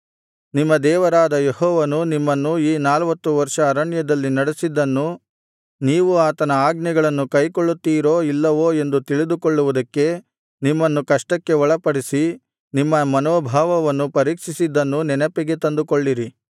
ನಿಮ್ಮ ದೇವರಾದ ಯೆಹೋವನು ನಿಮ್ಮನ್ನು ಈ ನಲ್ವತ್ತು ವರ್ಷ ಅರಣ್ಯದಲ್ಲಿ ನಡಿಸಿದ್ದನ್ನೂ ನೀವು ಆತನ ಆಜ್ಞೆಗಳನ್ನು ಕೈಕೊಳ್ಳುತ್ತಿರೋ ಇಲ್ಲವೋ ಎಂದು ತಿಳಿದುಕೊಳ್ಳುವುದಕ್ಕೆ ನಿಮ್ಮನ್ನು ಕಷ್ಟಕ್ಕೆ ಒಳಪಡಿಸಿ ನಿಮ್ಮ ಮನೋಭಾವವನ್ನು ಪರೀಕ್ಷಿಸಿದ್ದನ್ನೂ ನೆನಪಿಗೆ ತಂದುಕೊಳ್ಳಿರಿ